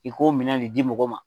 I ko minɛn le di mɔgɔ ma.